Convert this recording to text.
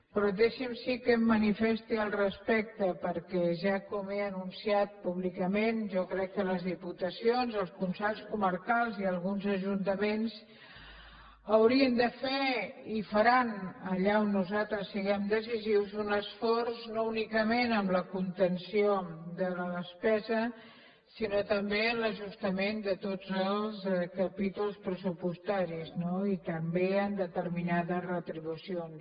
però deixi’m sí que em manifesti al respecte perquè ja com he anunciat públicament jo crec que les diputacions els consells comarcals i alguns ajuntaments haurien de fer i faran allà on nosaltres siguem decisius un esforç no únicament en la contenció de la despesa sinó també en l’ajustament de tots els capítols pressupostaris no i també en determinades retribucions